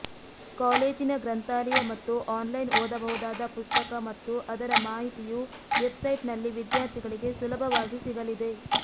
ಕಾಲೇಜಿನ ಗ್ರಂಥಾಲಯ ಮತ್ತು ಆನ್ಲೈನ್ ಓದಬಹುದಾದ ಪುಸ್ತಕ ಮತ್ತು ಅದರ ಮಾಹಿತಿಯೂ ವೆಬ್ಸೈಟ್ನಲ್ಲಿ ವಿದ್ಯಾರ್ಥಿಗಳಿಗೆ ಸುಲಭವಾಗಿ ಸಿಗಲಿದೆ